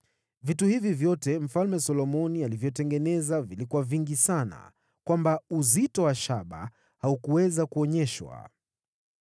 Vitu hivi vyote Mfalme Solomoni alivyotengeneza vilikuwa vingi sana hivi kwamba uzito wa shaba haungekadirika.